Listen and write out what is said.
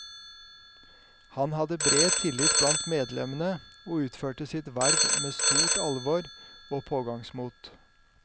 Han hadde bred tillit blant medlemmene og utførte sitt verv med stort alvor og pågangsmot.